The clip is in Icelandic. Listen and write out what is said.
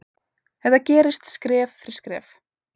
Þetta gerist skref fyrir skref.